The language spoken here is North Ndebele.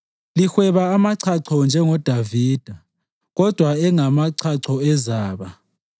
Lihweba amachacho njengoDavida kodwa engamachacho ezaba.